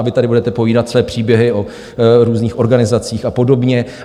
A vy tady budete povídat své příběhy o různých organizacích a podobně.